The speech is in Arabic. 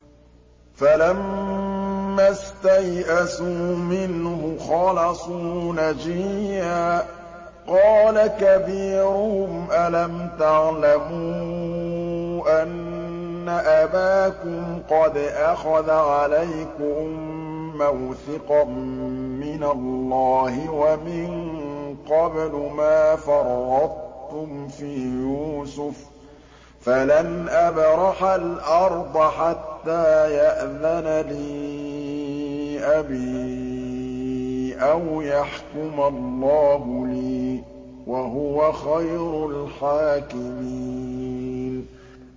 فَلَمَّا اسْتَيْأَسُوا مِنْهُ خَلَصُوا نَجِيًّا ۖ قَالَ كَبِيرُهُمْ أَلَمْ تَعْلَمُوا أَنَّ أَبَاكُمْ قَدْ أَخَذَ عَلَيْكُم مَّوْثِقًا مِّنَ اللَّهِ وَمِن قَبْلُ مَا فَرَّطتُمْ فِي يُوسُفَ ۖ فَلَنْ أَبْرَحَ الْأَرْضَ حَتَّىٰ يَأْذَنَ لِي أَبِي أَوْ يَحْكُمَ اللَّهُ لِي ۖ وَهُوَ خَيْرُ الْحَاكِمِينَ